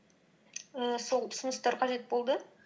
ііі сол ұсыныстар қажет болды